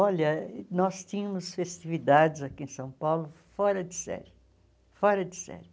Olha, nós tínhamos festividades aqui em São Paulo fora de série, fora de série.